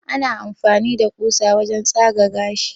ana amfani da kusa wajen tsaga gashi